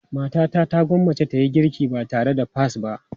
Matata ta gwammace ta yi girki ba tare da peas ba.